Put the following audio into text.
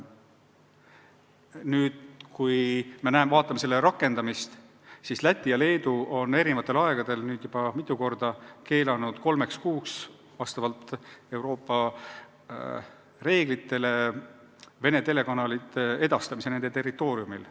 Nüüd, kui vaatame abinõude rakendamist, siis Läti ja Leedu on eri aegadel nüüd juba mitu korda keelanud kolmeks kuuks vastavalt Euroopa reeglitele Vene telekanalite produktsiooni edastamise nende territooriumil.